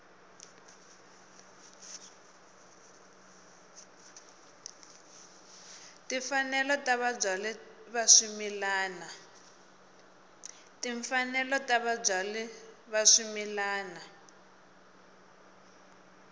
timfanelo ta vabyali va swimila